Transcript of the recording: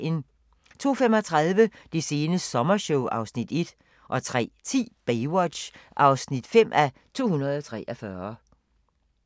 02:35: Det sene sommershow (Afs. 1) 03:10: Baywatch (5:243)